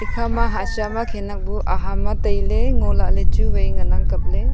ekhama hasha ma khanak bu aham a taile ngo lahle chu wai ngan ang kap le.